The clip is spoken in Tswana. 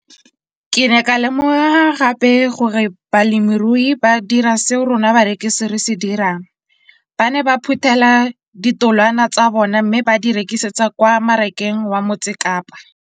Ke ne ka lemoga gape gore balemirui ba dira seo rona barekisi re se dirang, ba ne ba phuthela ditholwana tsa bona mme ba di rekisa kwa marakeng wa Motsekapa.